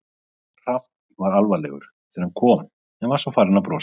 Hrafn var alvarlegur þegar hann kom en var svo farinn að brosa.